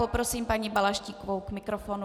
Poprosím paní Balaštíkovou k mikrofonu.